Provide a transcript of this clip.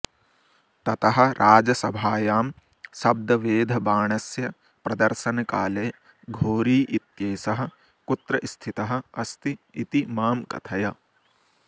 ततः राजसभायां शब्दवेधबाणस्य प्रदर्शनकाले घोरी इत्येषः कुत्र स्थितः अस्ति इति मां कथय